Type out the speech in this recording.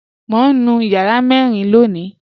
Mọ̀ n nú yàrà mẹ́rìn lóńì